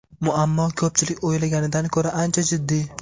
Muammo ko‘pchilik o‘ylaganidan ko‘ra ancha jiddiy.